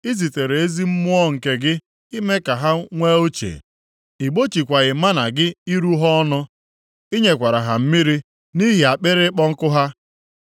I zitere ezi Mmụọ nke gị ime ka ha nwee uche. Ị gbochikwaghị mánà gị iru ha ọnụ, ị nyekwara ha mmiri nʼihi akpịrị ịkpọ nkụ ha.